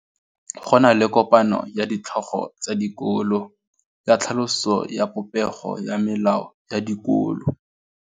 Go na le kopanô ya ditlhogo tsa dikolo ya tlhaloso ya popêgô ya melao ya dikolo.